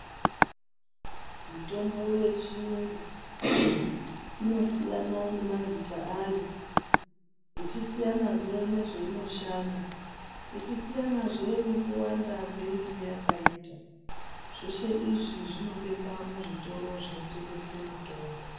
Mitombo yechiyungu inosiyana nemazita ayo, ichisiyanazve nezveinoshanda, ichisiyanazve nekuwanda kweinenge yakaita. Zveshe izvi zvinobekwa muzvitoro zvinotengeswe mitombo.